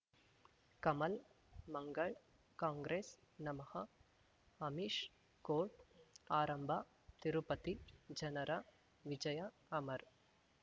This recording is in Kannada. ಕಮಲ್ ಮಂಗಳ್ ಕಾಂಗ್ರೆಸ್ ನಮಃ ಅಮಿಷ್ ಕೋರ್ಟ್ ಆರಂಭ ತಿರುಪತಿ ಜನರ ವಿಜಯ ಅಮರ್